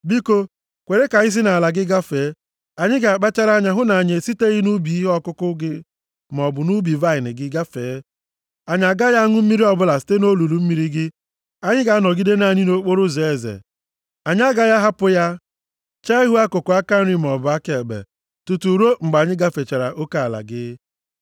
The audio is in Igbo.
Biko kwere ka anyị si nʼala gị gafee. Anyị ga-akpachara anya hụ na anyị esiteghị nʼubi ihe ọkụkụ gị maọbụ nʼubi vaịnị gị gafee. Anyị agaghị aṅụ mmiri ọbụla site nʼolulu mmiri gị. Anyị ga-anọgide naanị nʼokporoụzọ eze. Anyị agaghị ahapụ ya, chee ihu akụkụ aka nri maọbụ aka ekpe, tutu ruo mgbe anyị gafechara oke ala gị.”